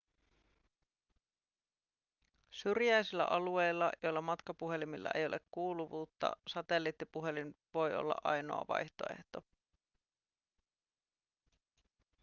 syrjäisillä alueilla joilla matkapuhelimilla ei ole kuuluvuutta satelliittipuhelin voi olla ainoa vaihtoehto